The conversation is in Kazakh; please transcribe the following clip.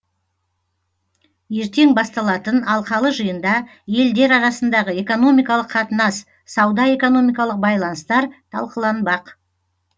ертең басталатын алқалы жиында елдер арасындағы экономикалық қатынас сауда экономикалық байланыстар талқыланбақ